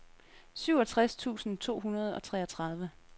syvogtres tusind to hundrede og treogtredive